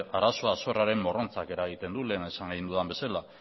arazoa zorraren morrontzak eragiten du lehen esan egin dudan bezala